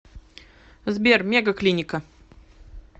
сбер мега клиника